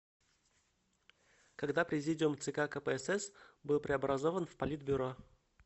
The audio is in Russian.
когда президиум цк кпсс был преобразован в политбюро